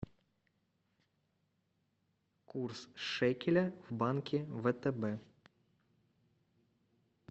курс шекеля в банке втб